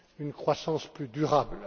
une croissance plus durable.